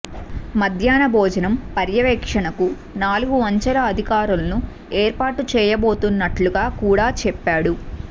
మద్యహ్న భోజనం పర్యవేక్షణకు నాలుగు అంచెల అధికారులను ఏర్పాటు చేయబోతున్నట్లుగా కూడా చెప్పాడు